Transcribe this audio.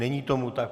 Není tomu tak.